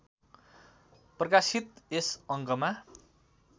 प्रकाशित यस अङ्कमा